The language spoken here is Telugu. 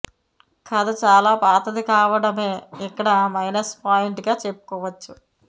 కథ చాలా పాతది కావడమే ఇక్కడ మైనస్ పాయింట్గా చెప్పుకోవచ్చు